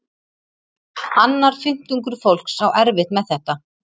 Annar fimmtungur fólks á erfitt með þetta.